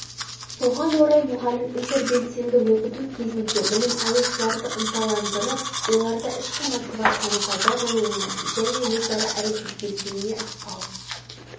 соған орай мұғалім интербелсенді оқыту кезінде білім алушыларды ынталандырып оларда ішкі мотивацияның пайда болуына және өзара әрекеттесуіне ықпал